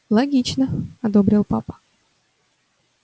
логично одобрил папа